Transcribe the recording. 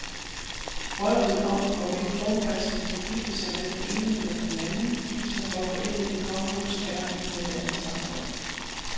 Vrøvlet om, hvorvidt kronprinsen kan gifte sig med den ene eller den anden, viser, hvor forældet et kongehus er i et moderne samfund.